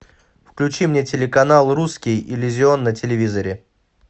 включи мне телеканал русский иллюзион на телевизоре